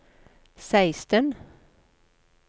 seksten